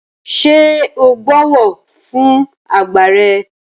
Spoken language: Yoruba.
Ṣé o bọ̀wọ̀ fún àgbà rẹ?